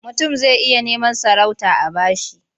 Mutum zai iya neman sarauta a ba shi.